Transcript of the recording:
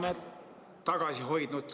Palun küsimus!